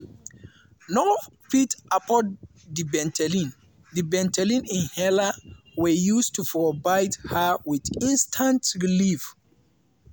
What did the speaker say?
no fit afford di ventolin di ventolin inhaler wey use to provide her with instant relief.